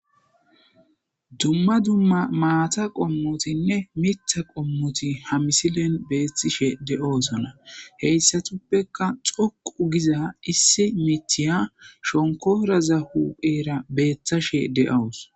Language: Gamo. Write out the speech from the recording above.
Dumma dumma maatanne mitha qommoti doosona hessatafekka dhoqqu giza miththiya shonkooraza huphera beettashe de7awus.